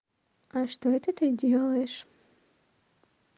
а что это ты делаешь